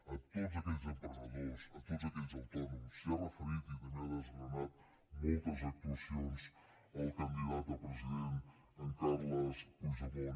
a tots aquells emprenedors a tots aquells autònoms s’hi ha referit i també ha desgranat moltes actuacions el candidat a president en carles puigdemont